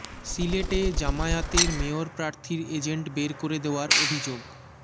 সিলেটে জামায়াতের মেয়র প্রার্থীর এজেন্ট বের করে দেওয়ার অভিযোগ